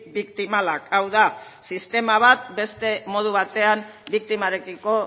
biktimalak hau da sistema bat beste modu batean biktimarekiko